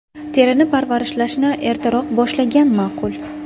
Terini parvarishlashni ertaroq boshlagan ma’qul.